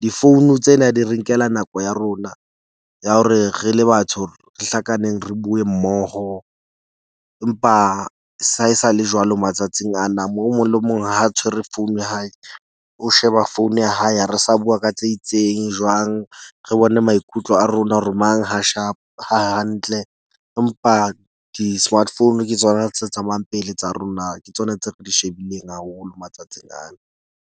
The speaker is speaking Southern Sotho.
Difounu tsena di re nkela nako ya rona ya hore re le batho re hlakaneng, re bue mmoho empa sa hae sa le, jwalo matsatsing ana. Moo o mong le mong ha a tshwere founu ya hae. O sheba phone ya hae. Ha re sa bua ka tse itseng jwang. Re bone maikutlo a rona hore mang ha shap ha hantle. Empa di-smartphone ke tsona tse tsamayang pele tsa rona, ke tsona tse re di shebileng haholo matsatsing ana.